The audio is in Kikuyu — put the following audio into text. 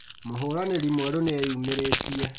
Mũhũranĩri mwerũ nĩeyumĩrĩtie